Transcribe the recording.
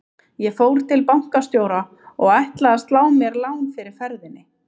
Ég fór til bankastjóra og ætlaði að slá mér lán fyrir ferðinni.